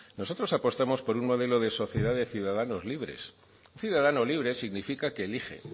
nosotros apostamos por un modelo de sociedad de ciudadanos libres un ciudadano libre significa que elige